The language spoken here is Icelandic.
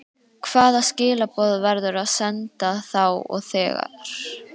Hvaða skilaboð verður að senda þá og þegar?